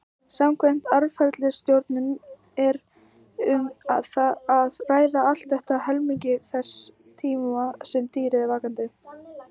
Samkvæmt atferlisrannsóknum er um að ræða allt að helmingi þess tíma sem dýrið er vakandi.